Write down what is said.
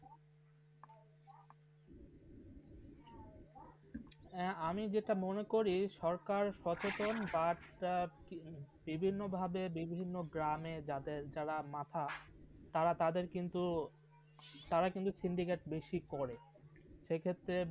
আমি যেটা মনে করি সরকার সর্বপ্রথম বিভিন্ন ভাবে বিভিন্ন গ্রামে যারা মাথা তারা তাদের কিন্তু সিন্ধিগাঁতে বেশি করে সেরি ক্ষেত্রে